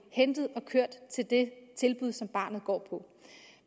hentet og kørt til det tilbud som barnet går i